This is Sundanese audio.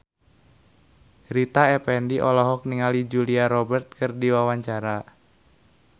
Rita Effendy olohok ningali Julia Robert keur diwawancara